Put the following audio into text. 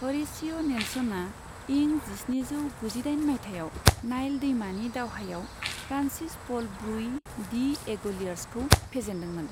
हरेशिय नेलसनआ इं जिस्निजौ गुजिदाइन माइथायाव नाइल दैमानि दावहायाव फ्रांसिस प'ल ब्रुई डि'एग'लियार्सखौ फेजेनदोंमोन।